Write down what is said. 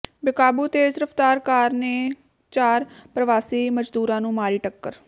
ਬੇਕਾਬੂ ਤੇਜ਼ ਰਫ਼ਤਾਰ ਕਾਰ ਨੇ ਚਾਰ ਪਰਵਾਸੀ ਮਜਦੂਰਾਂ ਨੂੰ ਮਾਰੀ ਟੱਕਰ